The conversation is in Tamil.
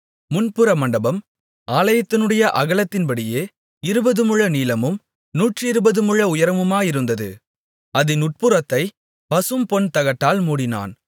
முன்புற மண்டபம் ஆலயத்தினுடைய அகலத்தின்படியே இருபது முழ நீளமும் நூற்றிருபது முழ உயரமுமாயிருந்தது அதின் உட்புறத்தைப் பசும்பொன் தகட்டால் மூடினான்